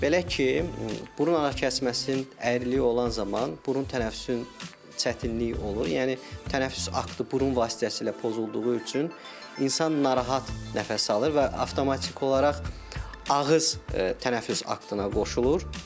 Belə ki, burun ara kəsməsinin əyriliyi olan zaman burun tənəffüsün çətinlik olur, yəni tənəffüs aktı burun vasitəsilə pozulduğu üçün insan narahat nəfəs alır və avtomatik olaraq ağız tənəffüs aktına qoşulur.